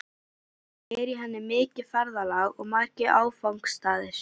Samt er í henni mikið ferðalag og margir áfangastaðir.